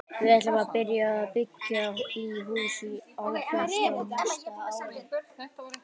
Við ætlum að byrja að byggja í hús í ágúst á næsta ári.